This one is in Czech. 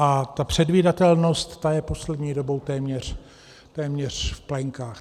A ta předvídatelnost je poslední dobou téměř v plenkách.